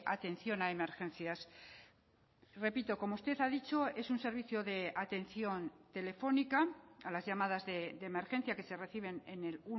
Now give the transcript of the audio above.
atención a emergencias repito como usted ha dicho es un servicio de atención telefónica a las llamadas de emergencia que se reciben en el